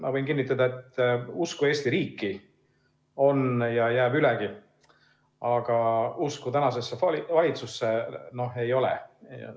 Ma võin kinnitada, et usku Eesti riiki on ja jääb ülegi, aga usku tänasesse valitsusse ei ole.